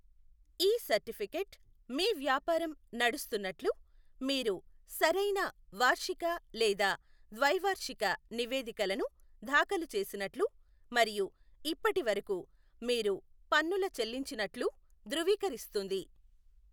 ఈ సర్టిఫికేట్ మీ వ్యాపారం నడుస్తున్నట్లు, మీరు సరైన వార్షిక లేదా ద్వైవార్షిక నివేదికలను దాఖలు చేసినట్లు, మరియు ఇప్పటివరకు మీరు పన్నుల చెల్లించినట్లు ధృవీకరిస్తుంది.